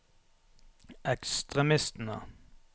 ekstremistene